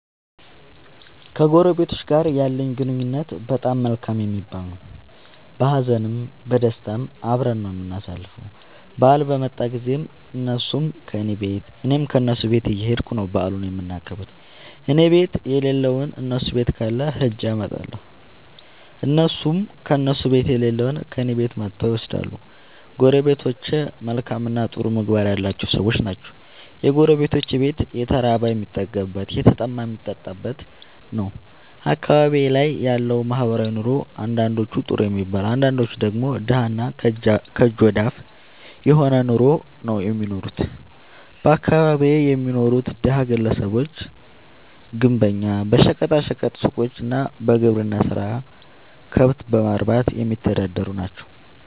ከጎረቤቶቸ ጋር ያለኝ ግንኙነት በጣም መልካም የሚባል ነዉ። በሀዘንም በደስታም አብረን ነዉ የምናሣልፈዉ በአል በመጣ ጊዜም እነሡም ከኔ ቤት እኔም ከነሡ ቤት እየኸድኩ ነዉ በዓሉን የምናከብር እኔቤት የለለዉን እነሡ ቤት ካለ ኸጀ አመጣለሁ። እነሡም ከእነሡ ቤት የሌለዉን እኔ ቤት መጥተዉ ይወስዳሉ። ጎረቤቶቸ መልካምእና ጥሩ ምግባር ያላቸዉ ሠዎች ናቸዉ። የጎረቤቶቼ ቤት የተራበ የሚጠግብበት የተጠማ የሚጠጣበት ነዉ። አካባቢዬ ላይ ያለዉ ማህበራዊ ኑሮ አንዳንዶቹ ጥሩ የሚባል አንዳንዶቹ ደግሞ ደሀ እና ከእጅ ወደ አፍ የሆነ ኑሮ ነዉ እሚኖሩት በአካባቢየ የሚኖሩት ደሀ ግለሰቦች ግንበኛ በሸቀጣ ሸቀጥ ሡቆች እና በግብርና ስራ ከብት በማርባትየሚተዳደሩ ናቸዉ።